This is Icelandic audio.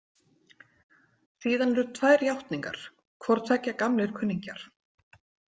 Síðan eru tvær játningar, hvortveggja gamlir kunningjar.